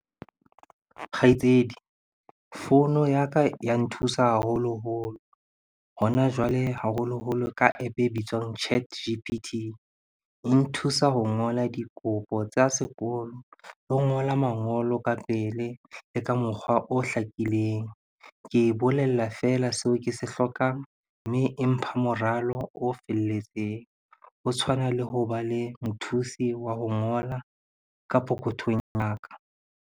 Kgaitsedi, founu ya ka ya nthusa haholoholo hona jwale haholoholo ka App e bitswang Chat G_P_T. E nthusa ho ngola dikopo tsa sekolo, le ho ngola mangolo ka pele, le ka mokgwa o hlakileng. Ke e bolella fela seo ke se hlokang mme e mpha moralo o felletseng. Ho tshwana le hoba le mothusi wa ho ngola ka pokothong ya ka.